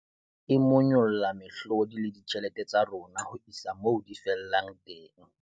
E monyolla mehlodi le ditjhelete tsa rona ho isa moo di fellang teng.